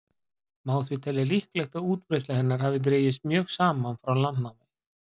má því telja líklegt að útbreiðsla hennar hafi dregist mjög saman frá landnámi